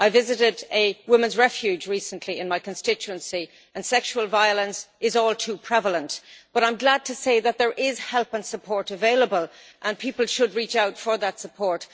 I visited a women's refuge recently in my constituency and sexual violence is all too prevalent, but I am glad to say that there is help and support available, and people should reach out for that support.